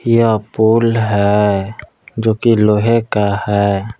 यह पुल है जो कि लोहे का है।